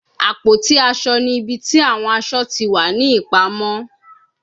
Àpótí-aṣọ ni ibi ti awọn aṣọ ti wa ni ipamọ